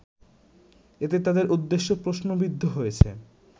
এতে তাদের উদ্দেশ্য প্রশ্নবিদ্ধ হয়েছে